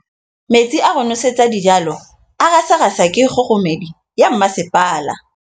Metsi a go nosetsa dijalo a gasa gasa ke kgogomedi ya masepala.